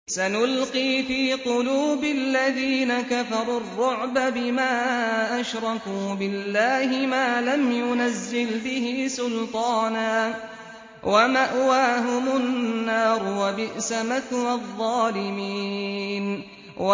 سَنُلْقِي فِي قُلُوبِ الَّذِينَ كَفَرُوا الرُّعْبَ بِمَا أَشْرَكُوا بِاللَّهِ مَا لَمْ يُنَزِّلْ بِهِ سُلْطَانًا ۖ وَمَأْوَاهُمُ النَّارُ ۚ وَبِئْسَ مَثْوَى الظَّالِمِينَ